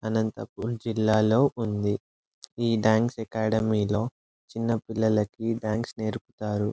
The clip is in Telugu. అనంతపూర్ జిల్లాలో ఉంది. ఈ డాన్స్ అకాడమీ లో చిన్న పిల్లలకు డాన్స్ నేర్పుతారు.